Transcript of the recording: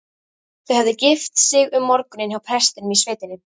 Þau höfðu gift sig um morguninn hjá prestinum í sveitinni.